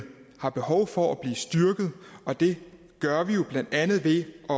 har behov for at blive styrket og det gør vi jo blandt andet ved at